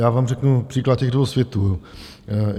Já vám řeknu příklad těch dvou světů.